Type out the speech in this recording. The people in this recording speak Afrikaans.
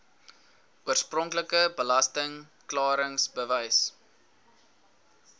oorspronklike belasting klaringsbewys